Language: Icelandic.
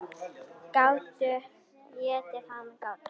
Gátu étið hana, gátu.